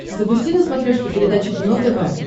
запусти на смотрешке передачу кино тв